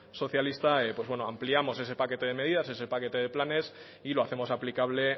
socialista pues bueno ampliamos ese paquete medidas ese paquete planes y lo hacemos aplicable